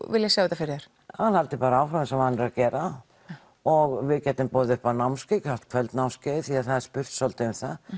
vilja sjá þetta fyrir þér að hann haldi bara áfram eins og vanur að gera og við getum boðið upp á námskeið kvöldnámskeið því að það er spurt svolítið um það